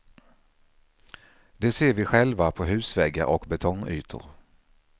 Det ser vi själva på husväggar och betongytor.